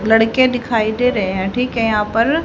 लड़के दिखाई दे रहे हैं ठीक है यहां पर--